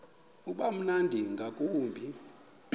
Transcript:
uba mnandi ngakumbi